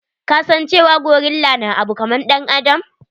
Ka san cewa gorilla na abu kaman ɗan adam.